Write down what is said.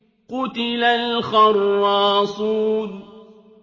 قُتِلَ الْخَرَّاصُونَ